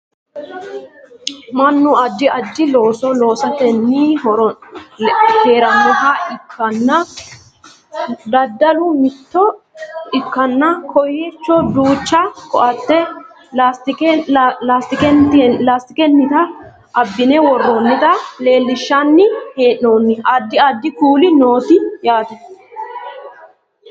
mannu addi addi looso loosatenni heerannoha ikkanna daddalu mitto ikkanna kowiichono duucha ko"atte laastikennita abbine worroonnita leellinshanni hee'noonni addi addi kuuli noote yaate